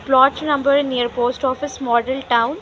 plot number near post office model town .